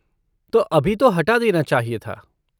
तो अभी तो हटा देना चाहिए था।